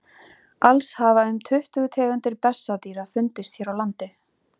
alls hafa um tuttugu tegundir bessadýra fundist hér á landi